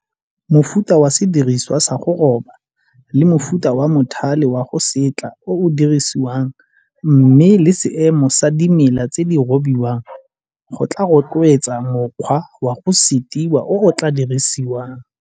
Mofuta wa sediriswa sa go roba le mofuta wa mothale wa go setla o o dirisiwang mme le seemo sa dimela tse di robiwang go tlaa rotloetsa mokgwa wa go setiwa o o tlaa dirisiwang.